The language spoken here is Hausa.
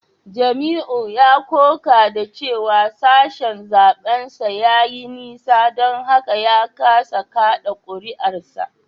Jamiu ya koka da cewa sashen zaben sa ya yi nisa don haka ya kasa kada kuri’arsa